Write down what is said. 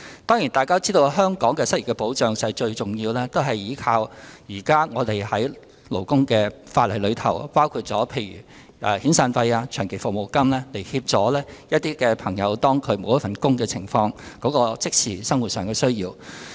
當然，大家也知道，香港的失業保障最主要是依靠現行的勞工法例，例如以遣散費及長期服務金來協助那些失去工作人士的即時生活需要。